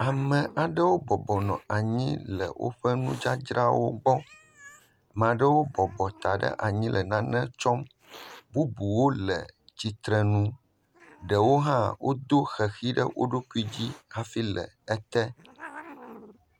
Ame aɖewo bɔbɔ nɔ anyi le woƒe nudzadzrawo gbɔ. Maa ɖewo bɔbɔ ta ɖe anyi le nane tsɔm. Bubuwo le tstrenu. Ɖewo hã wodo ʋeʋi ɖe wo ɖokui dzi hafi le ete.